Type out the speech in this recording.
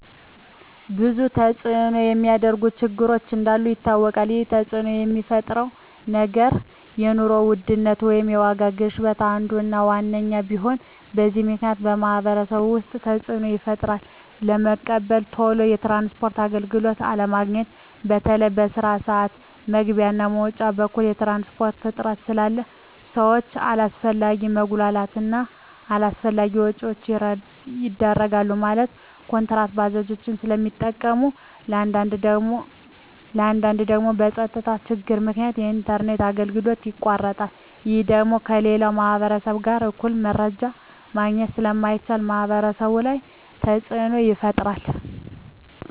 ብዙ ተፅዕኖ የሚያሳድሩ ችግሮች እንዳሉ ይታወቃል ይህ ተፅዕኖ የሚፈጥረው ነገር የኑሮ ውድነት ወይም የዋጋ ግሽበት አንዱ እና ዋነኛው ሲሆን በዚህ ምክንያት በማህበረሰቡ ውስጥ ተፅዕኖ ይፈጥራል በመቀጠል ቶሎ የትራንስፖርት አገልግሎት አለማግኘት በተለይ በስራ ስዓት መግቢያ እና መውጫ በኩል የትራንስፖርት እጥረት ስላለ ሰዎች አላስፈላጊ መጉላላት እና አላስፈላጊ ወጪዎች ይዳረጋሉ ማለትም ኩንትራት ባጃጆችን ስለሚጠቀሙ በአንዳንድ ደግሞ በፀጥታ ችግር ምክንያት የኢንተርኔት አገልግሎቶች ይቋረጣሉ ይህ ደግሞ ከሌላው ማህበረሰብ ጋር እኩል መረጃ ማግኘት ስለማይቻል ማህበረሰቡ ላይ ተፅዕኖ ይፈጥራል